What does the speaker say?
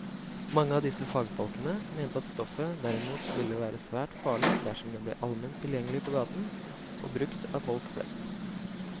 Mange av disse fagfolkene mente at stoffet derimot ville være svært farlig dersom det ble allment tilgjengelig på gaten og brukt av folk flest.